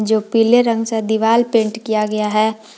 जो पीले रंग से दीवार पेंट किया गया है।